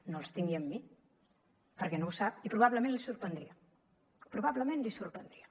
no els tingui amb mi perquè no ho sap i probablement li sorprendria probablement li sorprendria